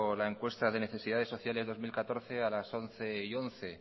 la encuesta de necesidades sociales dos mil catorce a las once once